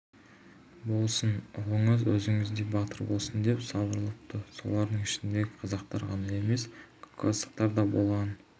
болсын ұлыңыз өзіңіздей батыр болсын деп сыбырлапты солардың ішінде қазақтар ғана емес кавказдықтар да болған